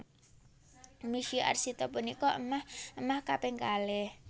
Misye Arsita punika émah émah kaping kalih